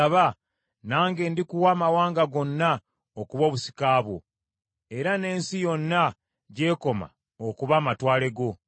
Nsaba, nange ndikuwa amawanga gonna okuba obusika bwo, era n’ensi yonna gy’ekoma okuba amatwale go.